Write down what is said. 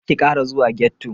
Karki Kara zuwa ghetto.